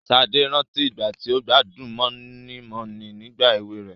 Sade rántí ìgbà tí ó gbádùn moninmonin nígbà èwe rẹ̀.